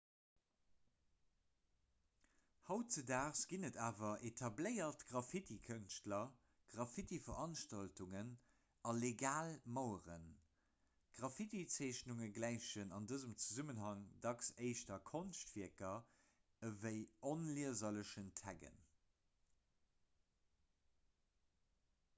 hautdesdaags ginn et awer etabléiert graffitikënschtler graffitiveranstaltungen a legal maueren graffitizeechnungen gläichen an dësem zesummenhang dacks éischter konschtwierker wéi onlieserlechen taggen